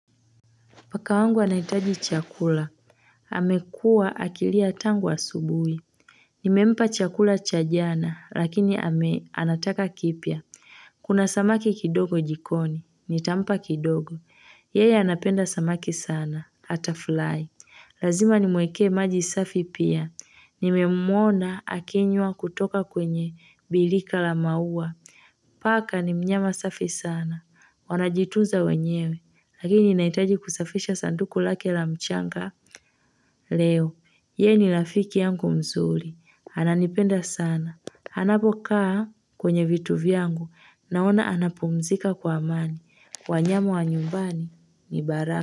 Paka wangu anahitaji chakula amekua akilia tangu asubuhi nimempa chakula cha jana lakini anataka kipya kuna samaki kidogo jikoni nitampa kidogo yeye anapenda samaki sana hata fly lazima nimweke maji safi pia nimemwona akinywa kutoka kwenye bilika la maua paka ni mnyama safi sana wanajitunza wenyewe Lakini nahitaji kusafisha sanduku lake la mchanga Leo, yeye ni lafiki yangu mzuri, ananipenda sana anapokaa kwenye vitu vyangu, naona anapumzika kwa amani wanyama wa nyumbani, ni baraka.